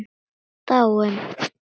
Dáin?